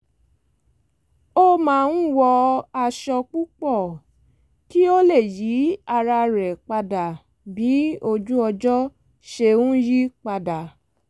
ó ma n wọ aṣọ púpọ̀ kí ó lè yí ara rẹ̀ padà bí ojú-ọjọ ṣe ń yí padà